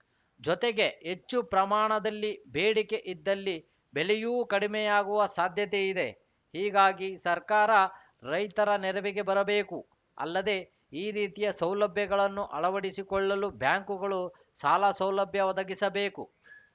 ಜೊತೆಗೆ ಹೆಚ್ಚು ಪ್ರಮಾಣದಲ್ಲಿ ಬೇಡಿಕೆ ಇದ್ದಲ್ಲಿ ಬೆಲೆಯೂ ಕಡಿಮೆಯಾಗುವ ಸಾಧ್ಯತೆಯಿದೆ ಹೀಗಾಗಿ ಸರ್ಕಾರ ರೈತರ ನೆರವಿಗೆ ಬರಬೇಕು ಅಲ್ಲದೆ ಈ ರೀತಿಯ ಸೌಲಭ್ಯಗಳನ್ನು ಅಳವಡಿಸಿಕೊಳ್ಳಲು ಬ್ಯಾಂಕ್‌ಗಳು ಸಾಲ ಸೌಲಭ್ಯ ಒದಗಿಸಬೇಕು